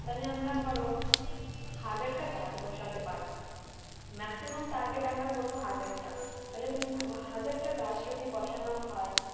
তাহলে আমরা ধরা হাজার টা গাছ বসাতে পারবো maximum target আমরা করবো হাজার টা তাহলে তুমি ভাব হাজার টা গাছ যদি বসানো হয়